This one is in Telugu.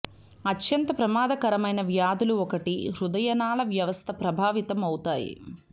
అత్యంత ప్రమాదకరమైన వ్యాధులు ఒకటి హృదయనాళ వ్యవస్థ ప్రభావితం అవుతాయి